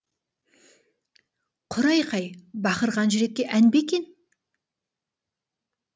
құр айқай бақырған жүрекке ән бе екен